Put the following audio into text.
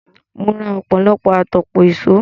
Mo ra ọ̀pọ̀lọpọ̀ àtòpọ̀ ìṣó.